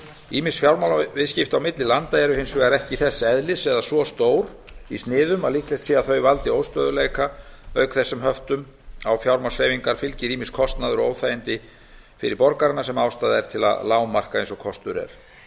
ýmis fjármálaviðskipti á milli landa eru hins vegar ekki þess eðlis eða svo stór í sniðum að líklegt sé að þau valdi óstöðugleika auk þess sem höftum á fjármagnshreyfingar fylgir ýmis kostnaður og óþægindi fyrir borgarana sem ástæða er til að lágmarka eins og kostur er